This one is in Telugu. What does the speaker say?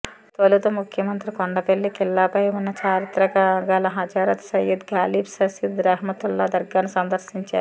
తొలుత ముఖ్యమంత్రి కొండపల్లి ఖిల్లాపై వున్న చారిత్రక గల హజరత్ సయ్యద్ గాలీబ్ షషీద్ రెహ్మతుల్లా దర్గాను సందర్శించారు